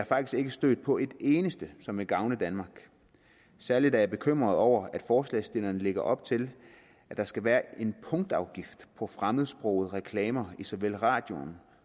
faktisk ikke stødt på et eneste som vil gavne danmark særlig er jeg bekymret over at forslagsstillerne lægger op til at der skal være en punktafgift på fremmedsprogede reklamer i såvel radioen